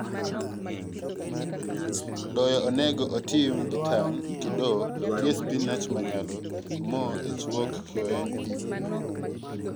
Doyo onego otim gi tang' kidoo tie spinach manyalo omo ethrwuok kiolone pii.